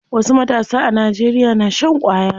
Wasu matasa a Najeriya na shan ƙwaya.